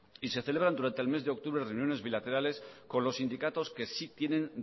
y se celebran durante el mes de octubre reuniones bilaterales con los sindicatos que sí tienen